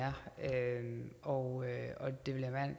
er og det vil